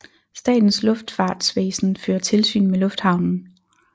Statens Luftfartsvæsen fører tilsyn med lufthavnen